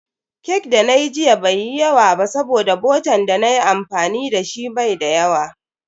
Cake da nayi jiya bai yi yawa ba saboda botan dana yi amfani dashi bai da yawa.